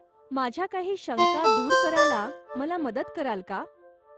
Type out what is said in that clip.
माझ्या काही शंका दूर करायला मला मदत कराल का?